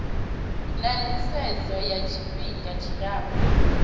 na nisedzo ya tshifihnga tshilapfu